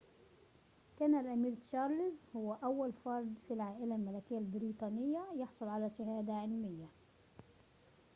كان الأمير تشارلز هو أول فردٍ في العائلة الملكية البريطانية يحصل على شهادة علمية